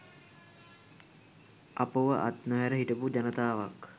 අපව අත් නොහැර හිටපු ජනාතවක්